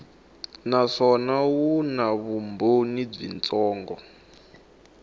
naswona wu na vumbhoni byitsongo